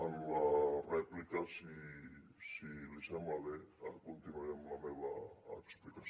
en la rèplica si li sembla bé continuaré amb la meva explicació